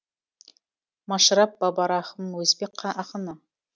машраб бабарахым өзбек ақыны